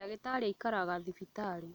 Ndagĩtarĩ aikaraga thibitarĩ